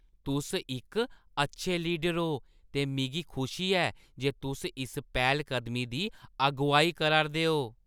तुस इक अच्छे लीडर ओ ते मिगी खुशी ऐ जे तुस इस पैह्‌लकदमी दी अगुआई करा 'रदे ओ।